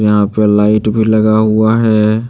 यहां पर लाइट भी लगा हुआ है।